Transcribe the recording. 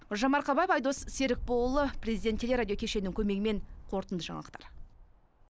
гулжан марқабаева айдос серікболұлы президент телерадио кешенінің көмегімен қорытынды жаңалықтар